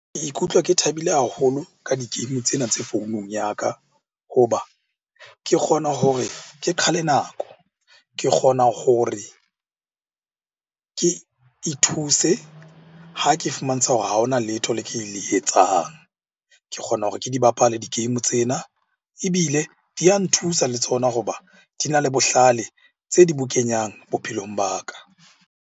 Ke ikutlwa ke thabile haholo ka di-game tsena tse founung ya ka. Ho ba ke kgona hore ke qhale nako, ke kgona gore ke ithuse ha ke fumantsha hore ha hona letho le ke le etsang. Ke kgona hore ke di bapale di-game tsena, ebile di a nthusa le tsona hoba di na le bohlale tse di bo kenyang bophelong ba ka.